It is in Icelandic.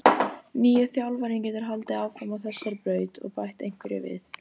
Nýi þjálfarinn getur haldið áfram á þessari braut og bætt einhverju við.